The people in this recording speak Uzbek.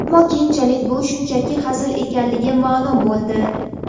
Ammo keyinchalik bu shunchaki hazil ekanligi ma’lum bo‘ldi.